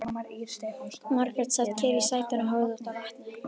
Margrét sat kyrr í sætinu og horfði út á vatnið.